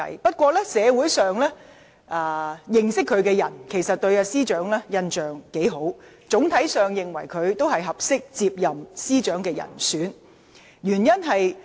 不過，社會上認識司長的人，對她的印象不錯，整體上認為她是出任司長的合適人選。